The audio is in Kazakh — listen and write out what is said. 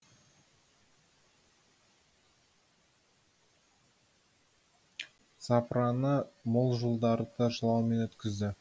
запыраны мол жылдарды жылаумен өткізді